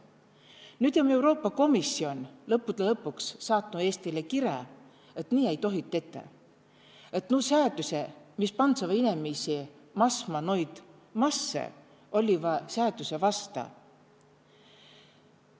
Nüüd om Euroopa Komisjon lõppude lõpuks saatnü Eestile kirä, et nii ei tohi tetä, et nuu säädüse, mis pandseva inemisi masma noid masse, olliva säädüse vasta.